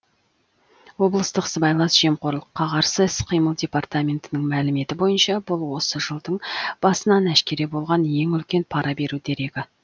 облыстық сыбайлас жемқорлыққа қарсы іс қимыл департаментінің мәліметі бойынша бұл осы жылдың басынан әшкере болған ең үлкен пара беру дерегі